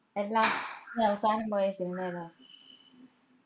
എല്ലാ നീ അവസാനം പോയ സിനിമ ഏതാ?